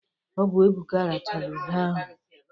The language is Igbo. Ọbụ Ebuka rachala ube ahụ.